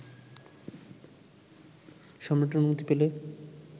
সম্রাটের অনুমতি পেলে